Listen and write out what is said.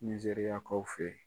Nizeriyakaw fe yen.